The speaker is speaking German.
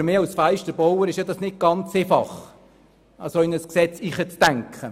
Für mich als Fensterbauer ist es ja nicht ganz einfach, mich in so ein Gesetz hineinzudenken.